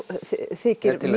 þykir